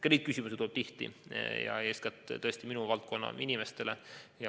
Ka neid küsimusi tuleb tihti ja eeskätt tõesti minu valdkonna inimestele.